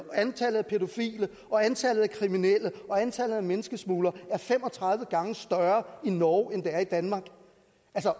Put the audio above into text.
antallet af pædofile og antallet af kriminelle og antallet af menneskesmuglere er fem og tredive gange større i norge end det er i danmark